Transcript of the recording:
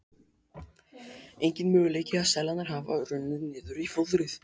Enginn möguleiki að seðlarnir hafi runnið niður í fóðrið.